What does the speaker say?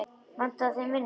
Vantaði þeim vinnu?